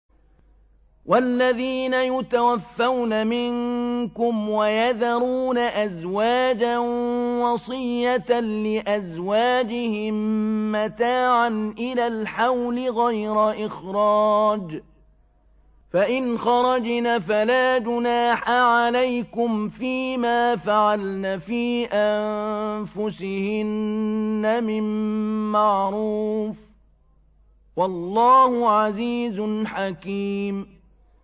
وَالَّذِينَ يُتَوَفَّوْنَ مِنكُمْ وَيَذَرُونَ أَزْوَاجًا وَصِيَّةً لِّأَزْوَاجِهِم مَّتَاعًا إِلَى الْحَوْلِ غَيْرَ إِخْرَاجٍ ۚ فَإِنْ خَرَجْنَ فَلَا جُنَاحَ عَلَيْكُمْ فِي مَا فَعَلْنَ فِي أَنفُسِهِنَّ مِن مَّعْرُوفٍ ۗ وَاللَّهُ عَزِيزٌ حَكِيمٌ